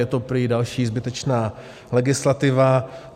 Je to prý další zbytečná legislativa.